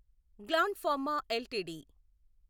gland Pharma LTD